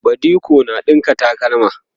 badiko na ɗinka takalma